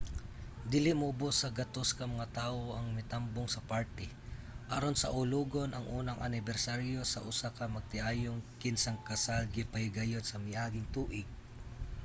dili muobos sa 100 ka mga tawo ang mitambong sa party aron saulogon ang unang anibersaryo sa usa ka magtiayon kinsang kasal gipahigayon sa miaging tuig